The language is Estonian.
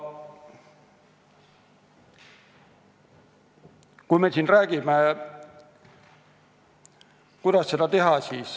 Me siin räägime, kuidas seda teha.